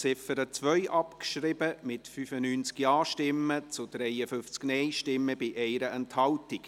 Sie haben die Ziffer 2 abgeschrieben, mit 95 Ja- zu 53 Nein-Stimmen bei 1 Enthaltung.